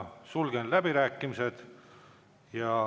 Sulgen läbirääkimised.